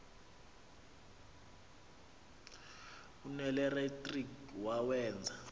l nelenatriki wawenza